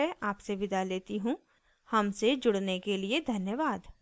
हमसे जुड़ने के लिए धन्यवाद